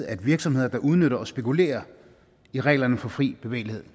at virksomheder der udnytter og spekulerer i reglerne for fri bevægelighed